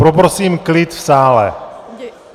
Poprosím klid v sále.